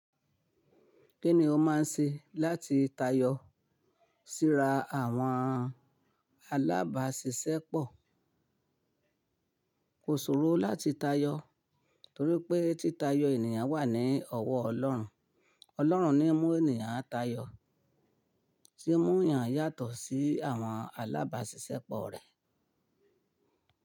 Kí ni o máa ń ṣe láti tayọ síra àwọn alábàáṣiṣẹ́pọ̀? Kò ṣòro láti tayọ torí pé títayo ènìyàn wà ní ọwọ́ Ọlọ́run. Ọlọ́run ni ń mú ènìyàn tayọ, tì ń mú ènìyàn yàtọ̀ sí àwọn alábàáṣiṣẹ́pọ̀ rẹ̀.